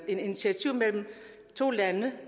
initiativ mellem to lande